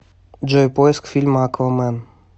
джой поиск фильма аквамен